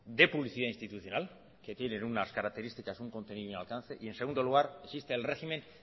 de publicidad institucional que tiene unas características un contenido y un alcance y en segundo lugar existe el régimen